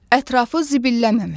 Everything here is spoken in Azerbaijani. Ətrafı zibilləməmək.